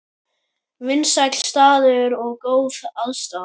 Vinsæll staður og góð aðstaða